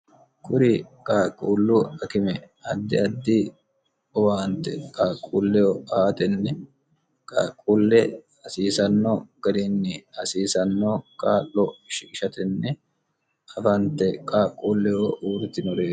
Kuri qaaqquullu akime addi addi owaante qaaqquulleho aatenni qaaqquulle hasiisanno garinni hasiisanno kaa'lo shiqishatenne afante qaaqquulleho uurritinoreti